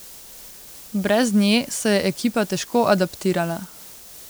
Brez nje se je ekipa težko adaptirala.